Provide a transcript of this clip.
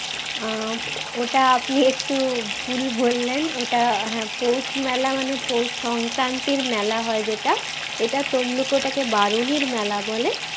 আহ উম ওটা আপনি একটু ভুল বললেন ওটা হ্যাঁ পৌষ মেলা মানে পৌষ সংক্রান্তির মেলা হয় যেটা এটা তমলুকি ওটা কে বারুনির মেলা বলে